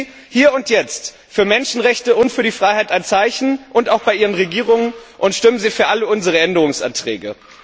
Setzen Sie hier und jetzt für Menschenrechte und für die Freiheit ein Zeichen auch bei Ihren Regierungen und stimmen Sie für alle unsere Änderungsanträge.